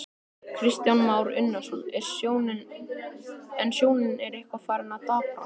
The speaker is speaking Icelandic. Kristján Már Unnarsson: En sjónin er eitthvað farin að daprast?